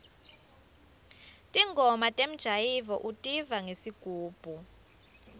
ntingoma temjayivo utiva ngesigubhu